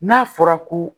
N'a fɔra ko